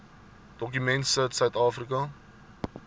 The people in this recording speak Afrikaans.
dokument sit suidafrika